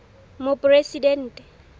moporesidente